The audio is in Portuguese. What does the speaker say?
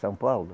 São Paulo?